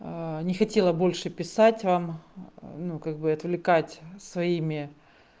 не хотела больше писать вам ну как бы отвлекать своими